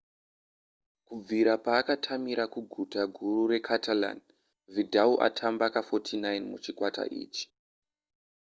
kubvira paakatamira kuguta guru recatalan vidal atamba ka49 muchikwata ichi